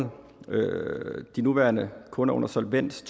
de nuværende kunder under solvens